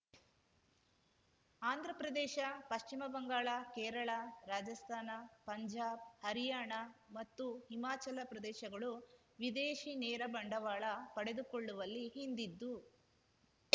ಆಂಧ್ರ ಪ್ರದೇಶ ಪಶ್ಚಿಮ ಬಂಗಾಳ ಕೇರಳ ರಾಜಸ್ತಾನ ಪಂಜಾಬ್ ಹರಿಯಾಣ ಮತ್ತು ಹಿಮಾಚಲ ಪ್ರದೇಶಗಳು ವಿದೇಶಿ ನೇರ ಬಂಡವಾಳ ಪಡೆದುಕೊಳ್ಳುವಲ್ಲಿ ಹಿಂದಿದ್ದು